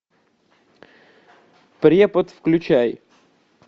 препод включай